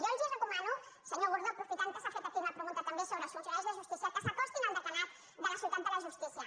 jo els recomano senyor gordó aprofitant que s’ha fet aquí una pregunta també sobre els funcionaris de justícia que s’acostin al deganat de la ciutat de la justícia